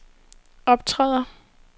optræder